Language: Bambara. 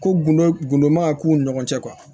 Ko gundo gudo man ka k'u ni ɲɔgɔn cɛ